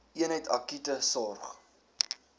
eenheid akute sorg